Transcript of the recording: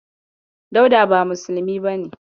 Dauda ba musulmi bane.